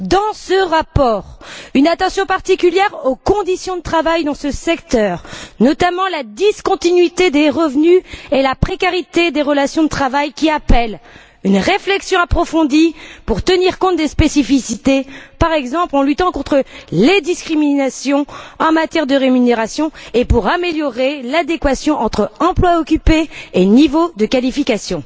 Dans ce rapport, une attention particulière est portée aux conditions de travail dans ce secteur, notamment la discontinuité des revenus et la précarité des relations de travail qui appellent une réflexion approfondie pour tenir compte des spécificités, par exemple en luttant contre les discriminations en matière de rémunération, et pour améliorer l'adéquation entre emploi occupé et niveau de qualification.